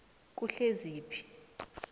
kuhleziphi